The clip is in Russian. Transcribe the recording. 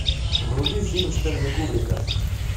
вруби фильм стэнли кубрика